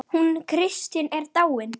Hún Katrín er dáin.